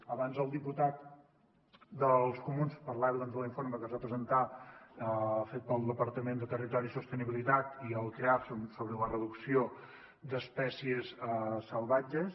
abans el diputat dels comuns parlava de l’informe que es va presentar fet pel departament de territori i sostenibilitat i el creaf sobre la reducció d’espècies salvatges